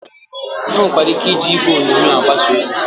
E nwekwara ike iji igwe onyonyo agbasa ozi.